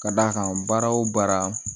Ka d'a kan baara o baara